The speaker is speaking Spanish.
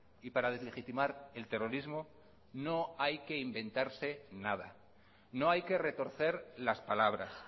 y para deslegitimar el terrorismo no hay que inventarse nada no hay que retorcer las palabras